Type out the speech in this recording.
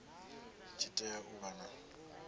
tshi tea u vha na